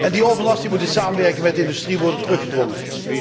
Die overlast moet in samenwerking met de industrie worden teruggedrongen.